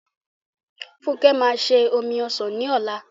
Funke máa se omi ọsàn ní ọ̀la m